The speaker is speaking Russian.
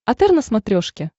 отр на смотрешке